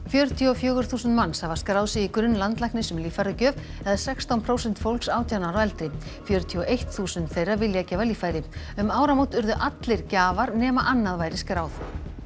fjörutíu og fjögur þúsund manns hafa skráð sig í grunn landlæknis um líffæragjöf eða sextán prósent fólks átján ára og eldri fjörutíu og eitt þúsund þeirra vilja gefa líffæri um áramót urðu allir gjafar nema annað væri skráð